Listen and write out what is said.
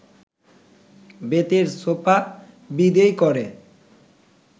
বেতের সোফা বিদেয় করে